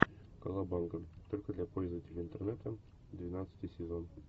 колобанга только для пользователей интернета двенадцатый сезон